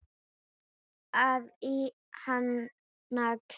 að í hana klæi